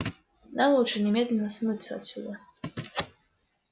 нам лучше немедленно смыться отсюда